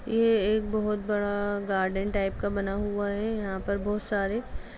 ये एक बहुत बड़ा गार्डन टाइप का बना हुआ है यहाँ पर बहुत सारे--